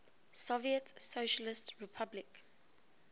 soviet socialist republic